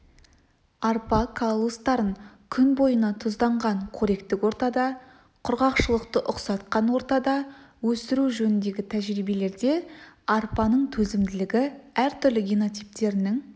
арпа каллустарын күн бойына тұзданған қоректік ортада құрғақшылықты ұқсатқан ортада өсіру жөніндегі тәжірибелерде арпаның төзімділігі әртүрлі генотиптерінің